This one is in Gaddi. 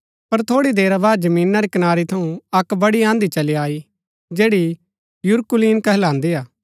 पर थोड़ी देरा बाद जमीना री कनारी थऊँ अक्क बड़ी आँधी चली आई जैड़ी यूरकुलीन कहलान्दी हा